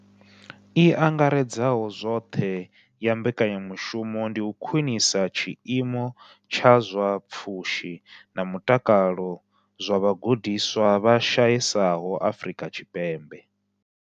I angaredzaho zwoṱhe ya mbekanya mushumo ndi u khwinisa tshiimo tsha zwa pfushi na mutakalo zwa vhagudiswa vha shayesaho Afrika Tshipembe.